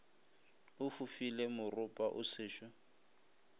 o fofile moropa o sešo